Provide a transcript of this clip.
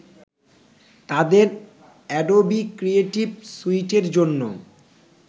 তাদের Adobe Creative স্যুইটের জন্য